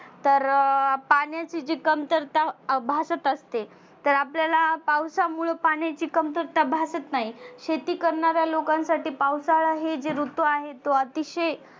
तर पाण्याची जी कमतरता अं भासत असते तर आपल्याला पावसामुळ पाण्याची कमतरता भासत नाही. शेती करणाऱ्या लोकांसाठी पावसाळा हे जे ऋतू आहे अतीशय